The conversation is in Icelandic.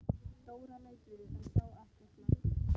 Dóra leit við en sá ekkert markvert.